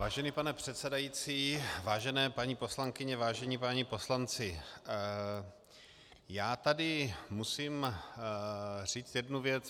Vážený pane předsedající, vážené paní poslankyně, vážení páni poslanci, já tady musím říct jednu věc.